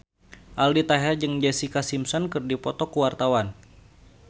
Aldi Taher jeung Jessica Simpson keur dipoto ku wartawan